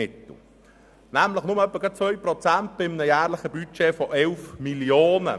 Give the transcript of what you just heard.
Es sind nämlich nur etwa 2 Prozent bei einem jährlichen Budget von 11 Mio. Franken.